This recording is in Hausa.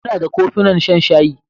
Muna da kofunan shan shayi.